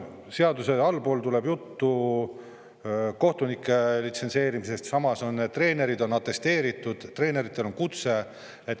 Seaduses on juttu kohtunike litsentseerimisest, samas treenerid on atesteeritud, treeneritel on kutse.